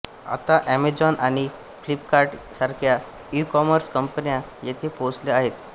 आता अमेजॉन आणि फ्लिपकार्ट सारख्या ईकॉमर्स कंपन्या येथे पोहोचल्या आहेत